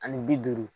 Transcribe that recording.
Ani bi duuru